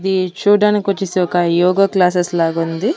ఇది చూడడానికి వచ్చేసి ఒక యోగ క్లాసెస్ లాగా ఉంది.